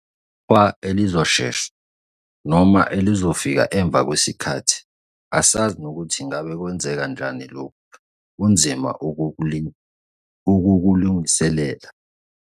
Iqhwa elizoshesha? Noma elizofika emva kwesikhathi? Asazi nokuthi ngabe kwenzeka njani lokhu kunzima ukukulungiselela.